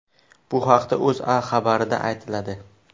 Bu haqda O‘zA xabarida aytiladi .